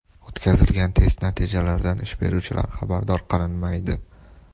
O‘tkazilgan test natijalaridan ish beruvchilar xabardor qilinmaydi.